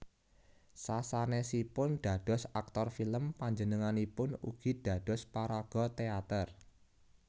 Sasanèsipun dados aktor film panjenenganipun ugi dados paraga téater